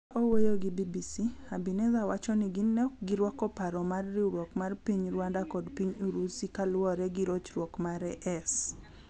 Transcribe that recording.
Ka owuoyo gi BBC, Habineza wachoni gin ne okgirwako paro mar riwruok mar piny Rwanda kod Piny Urusi kaluore gi rochruok mare.s